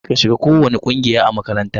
Kar ka shiga kowacce ƙungiya a makaranta!